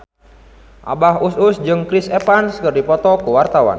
Abah Us Us jeung Chris Evans keur dipoto ku wartawan